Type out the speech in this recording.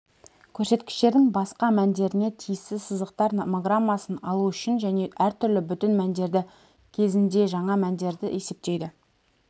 көрсеткіштердің басқа мәндеріне тиісті сызықтар номограммасын алу үшін және әртүрлі бүтін мәндері кезінде жаңа мәндерді есептейді